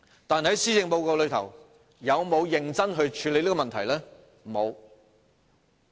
但是，施政報告有否認真處理這問題？